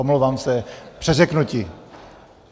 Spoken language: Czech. Omlouvám se, přeřeknutí.